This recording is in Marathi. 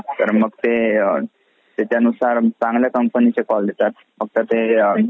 तर मग ते त्याच्यानुसार चांगल्या companyचे call देतात फक्त ते .